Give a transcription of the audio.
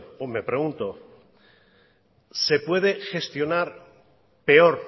o me pregunto se puede gestionar peor